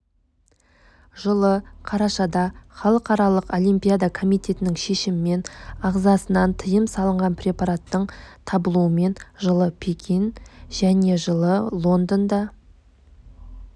жылы қарашада халықаралық олимпиада комитетінің шешімімен ағзасынан тиым салынған препараттың табылуымен жылы пекин мен жылы лондонда